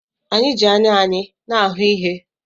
Anyị ji anya anyị na-ahụ ihe.